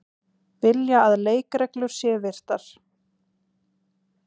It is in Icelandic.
Vilja að leikreglur séu virtar